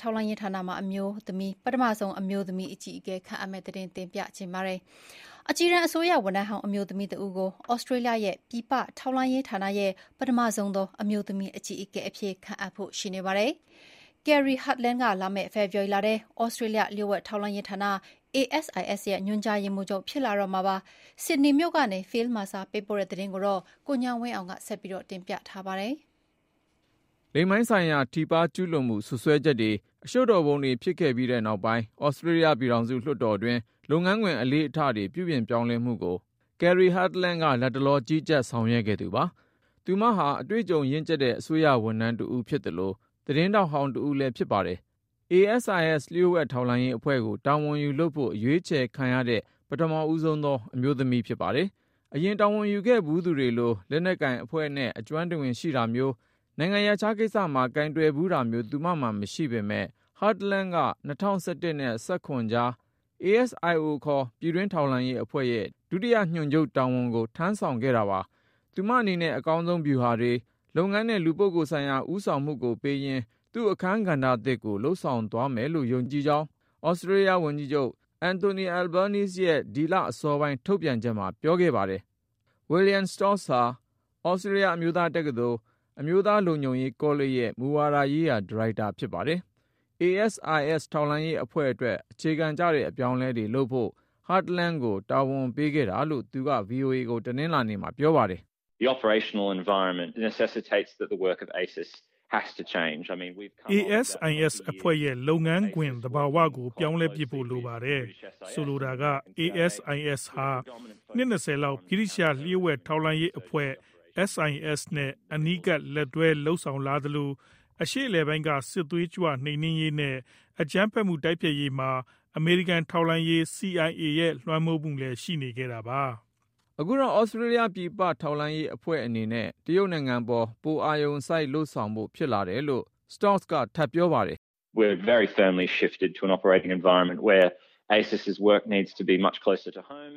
ထောက်လှမ်းရေး ဌာနရဲ့ ပထမဆုံး အမျိုးသမီး အကြီးအကဲ ခန့်အပ် အကြီးတန်း အစိုးရ ဝန်ထမ်းဟောင်း အမျိုးသမီးတဦးကို သြစတြေးလျရဲ့ ပြည်ပ ထောက်လှမ်းရေးဌာန ရဲ့ ပထမဆုံးသော အမျိုးသမီး အကြီးအကဲ အဖြစ် ခန့်အပ်ဖို့ ရှိနေပါတယ်။ Kerri Hartland က လာမယ့် ဖေဖေါ်ဝါရီလထဲ သြစတြေးလျ လျှို့ဝှက်ထောက်လှမ်းရေးဌာန ASIS ရဲ့ ညွှန်ကြားရေးမှူးချုပ် ဖြစ်လာတော့မှာပါ။ ဆစ်ဒနေမြို့ကနေ Phil Mercer ပေးပို့တဲ့ သတင်းကို ကိုဉာဏ်ဝင်းအောင် တင်ပြထားပါတယ်။ လိင်ပိုင်းဆိုင်ရာ ထိပါး ကျူးလွန်မှု စွပ်စွဲချက်တွေ အရှုပ်တော်ပုံတွေ ဖြစ်ခဲ့ပြီး နောက်ပိုင်း သြစတြေးလျ ပြည်ထောင်စု လွှတ်တော်တွင်း လုပ်ငန်းခွင် အလေ့အထတွေ ပြုပြင်ပြောင်းလဲမှုကို Kerri Hartladn က လတ်တလော ကြီးကြပ်ဆောင်ရွက်ခဲ့သူပါ။ သူမဟာ အတွေ့အကြုံရင့်် အစိုးရ ဝန်ထမ်းတဦး ဖြစ်သလို သတင်းထောက်ဟောင်း တဦးလည်း ဖြစ်ပါတယ်။ ASIS လျှို့ဝှက်ထောက်လှမ်းရေးအဖွဲ့ကို တာဝန်ယူလုပ်ဖို့ အရွေးချယ်ခံရတဲ့ ပထမဦးဆုံးသော အမျိုးသမီး ဖြစ်ပါတယ်။ အရင် တာဝန်ယူခဲ့ဖူးသူတွေလို လက်နက်ကိုင်အဖွဲ့နဲ့ အကျွမ်းတဝင် ရှိတာမျိုး၊ နိုင်ငံရပ်ခြားကိစ္စမှာ ကိုင်တွယ်ဖူးတာမျိုး သူမမှာ မရှိပေမဲ့ ၊ Hartland က ၂၀၁၁ နဲ့ ၂၀၁၇ ကြား ASIO ခေါ် ပြည်တွင်းထောက်လှမ်းရေးအဖွဲ့ရဲ့ ဒုတိယ ညွှန်ချုပ်တာဝန်ကို ထမ်းဆောင်ခဲ့တာပါ။ သူမအနေနဲ့ အကောင်းဆုံးဗျူဟာတွေ၊ လုပ်ငန်းနဲ့ လူပုဂ္ဂိုလ်ဆိုင်ရာ ဦးဆာင်မှုကိုပေးရင်း သူ့ အခန်းကဏ္ဍသစ်ကို လုပ်ဆောင်သွားနိုင်မယ်ဆိုတာ ယုံကြည်တယ်လို့ သြစတြေးလျ ဝန်ကြီးချုပ် Anthony Albanese ရဲ့ ဒီလအစောပိုင်း ထုတ်ပြန်ချက်မှာ ပြောခဲ့ပါတယ်။ William Stoltz ဟာ သြစတြေးလျ အမျိုးသားတက္ကသိုလ် အမျိုးသား လုံခြုံရေး ကောလိပ်ရဲ့ မူဝါဒရေးရာ -ဒါရိုက်တာဖြစ်ပါတယ်။ ASIS ထောက်လှမ်းရေးအဖွဲ့အတွက် အခြေခံကျတဲ့ အပြောင်းအလဲတွေ လုပ်ဖို့ Hartland ကိုတာဝန်ပေးခဲ့တာလို့ သူက ဗွီအိုအေကို တနလာၤနေ့မှာ ပြောပါတယ်။ “ ASIS အဖွဲ့ရဲ့ လုပ်ငန်းခွင် သဘာဝကို ပြောင်းလဲပစ်ဖို့ လိုနေပါတယ်။ ဆိုလိုတာက ASIS ဟာ နှစ် ၂၀ လောက် ဗြိတိသျှ လျှို့ဝှက်ထောက်လှမ်းရေးအဖွဲ့ SIS နဲ့ အနီးကပ်လက်တွဲ လုပ်လာသလို၊ အရှေ့အလယ်ပိုင်းက စစ်သွေးကြွ နှိမ်နင်းရေးနဲ့ အကြမ်းဖက်မှု တိုက်ဖျက်ရေးမှာ အမေရိကန်ထောက်လှမ်းရေး CIAရဲ့လွှမ်းမိုးမှုလည်း ရှိနေခဲ့တာပါ။” အခုတော့ သြစတြေးလျ ပြည်ပထောက်လှမ်းရေးအဖွဲ့ အနေနဲ့ တရုတ်နိုင်ငံပေါ် ပိုအာရုံစိုက် လုပ်ဆောင်ဖို့ဖြစ်လာ တယ်လို့ Stoltz က ထပ်ပြောပါတယ်။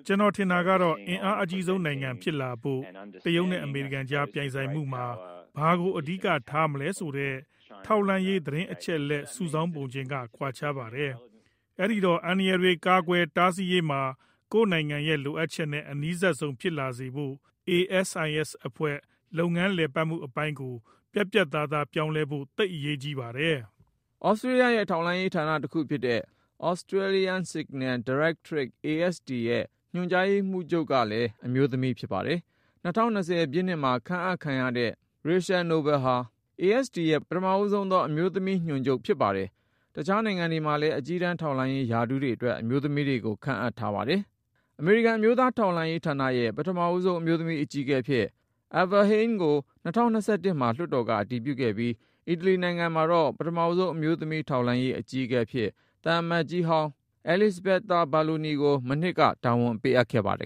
“ကျနော်ထင်တာကတော့ အင်အားအကြီးဆုံးနိုင်ငံ ဖြစ်လာဖို့ တရုတ်နဲ့ အမေရိကန်ကြား ပြိုင်ဆိုင်မှုမှာ ဘာကို အဓိက ထားမလဲဆိုတဲ့ ထောက်လှမ်းရေး သတင်းအချက်အလက် စုဆောင်းပုံချင်းက ကွာခြားပါတယ်။ အဲဒီတော့ အန္တရာယ်တွေ ကာကွယ်တားဆီးရေးမှာ ကိုယ့်နိုင်ငံရဲ့လိုအပ်ချက်နဲ့ အနီးစပ်ဆုံး ဖြစ်လာစေဖို့ ASIS အဖွဲ့ လုပ်ငန်းလည်ပတ်မှု အပိုင်းကို ပြတ်ပြတ်သာသား ပြောင်းလဲဖို့ သိပ်အရေးကြီးပါတယ်။” သြစတြေးလျရဲ့ ထောက်လှမ်းရေးဌာန တခု ဖြစ်တဲ့ Australian Signals Directorate ရဲ့ ညွှန်ကြားရေးမှူးချုပ်ကလည်း အမျိုးသမီး ဖြစ်ပါတယ်။ ၂၀၂၀ ပြည့်နှစ်မှာ ခန့်အပ်ခံရတဲ့ Rachel Nobel ဟာ ဆိုရင် ASD ရဲ့ ပထမဆုံးသော အမျိုးသမီး ညွှန်ကြားရေးမှူးချုပ် ဖြစ်ပါတယ်။ တခြားနိုင်ငံတွေမှာလည်း အကြီးတန်း ထောက်လှမ်းရေး ရာထူးတွေ အတွက် အမျိုးသမီးတွေကို ခန့်အပ်ထားကြပါတယ်။ အမေရိကန် အမျိုးသား ထောက်လှမ်းရေး ဌာနရဲ့ ပထမဆုံး အမျိုးသမီး အကြီးအကဲ အဖြစ် Avril Haines ကို ၂၀၂၁ မှာ လွှတ်တော်က အတည်ပြုခဲ့ပြီး ၊ အီတလီနိုင်ငံမှာတော့ ပထမဆုံး အမျိုးသမီး ထောက်လှမ်းရေး အကြီးအကဲ အဖြစ် သံအမတ်ကြီးဟောင်းဖြစ်တဲ့ Elisabetta Belloni ကို မနှစ်က တာဝန်ပေးခဲ့ပါတယ်